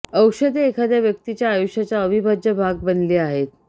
औषधे एखाद्या व्यक्तीच्या आयुष्याचा अविभाज्य भाग बनली आहेत